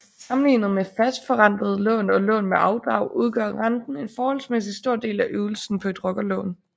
Sammenlignet med fastforrentede lån og lån med afdrag udgør renten en forholdsmæssigt stor del af ydelsen på et rockerlån